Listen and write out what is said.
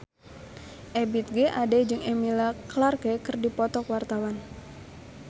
Ebith G. Ade jeung Emilia Clarke keur dipoto ku wartawan